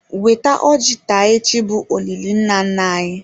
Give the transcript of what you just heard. Weta ọjị taa echi bụ olili nna nna anyi.